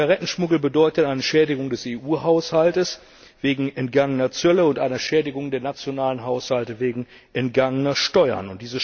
Zigarettenschmuggel bedeutet eine Schädigung des EU Haushalts wegen entgangener Zölle und eine Schädigung der nationalen Haushalte wegen entgangener Steuern.